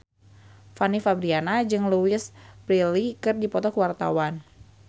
Fanny Fabriana jeung Louise Brealey keur dipoto ku wartawan